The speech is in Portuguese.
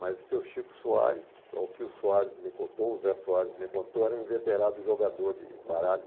Mas o seu Chico Soares, o que o Soares me contou, o Zé Soares me contou, era um veterado jogador de baralho.